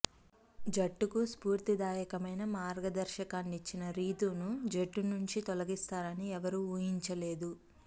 జట్టుకు స్ఫూర్తిదాయకమైన మార్గదర్శకాన్నిచ్చిన రితూను జట్టు నుంచి తొలగిస్తారని ఎవరూ ఊహించలేదు